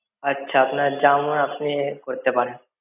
আচ্ছা আপনার যা মন আপনি করতে পারেন।